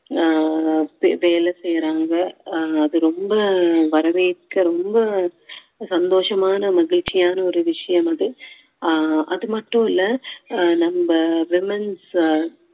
அஹ் வேலை செய்யறாங்க அஹ் அது ரொம்ப வரவேற்க ரொம்ப சந்தோஷமான மகிழ்ச்சியான ஒரு விஷயம் அது அஹ் அது மட்டும் இல்ல நம்ம womens